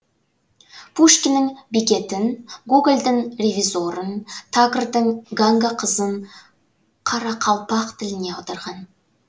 пушкиннің бекетін гогольдің ревизорын тагордың ганга қызын қарақалпақ тіліне аударған